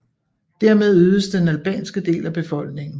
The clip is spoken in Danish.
Dermed øgedes den albanske del af befolkningen